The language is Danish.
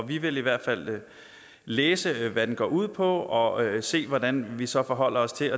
vi vil i hvert fald læse hvad den går ud på og se hvordan vi så forholder os til